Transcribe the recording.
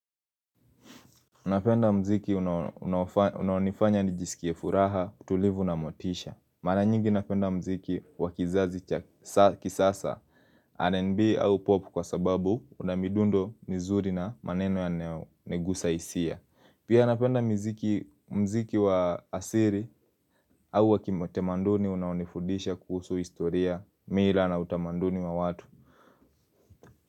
Unapenda mziki unanifanya nijisikiefuraha, tulivu na motisha. Mara nyingi unapenda mziki wakizazi kisasa R&B au popu kwa sababu unamidundo nizuri na maneno ya negusa isia. Pia unapenda mziki mziki wa asiri au wakimotemanduni unanifudisha kuhusu historia, mira na utamanduni wa watu.